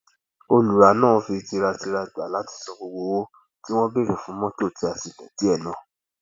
olùrá náà fi tìtaratìtara gba láti san gbogbo owó tí wọn béèrè fún mọtò tí a ti lò díẹ náà